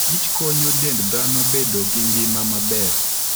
Kich konyo dend dhano bedo gi ngima maber.